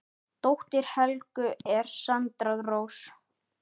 Dóttir Helgu er Sandra Rós.